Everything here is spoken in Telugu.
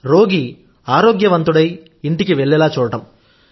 రోగి ఆరోగ్యవంతుడై ఇంటికి వెళ్లేలా చూడడం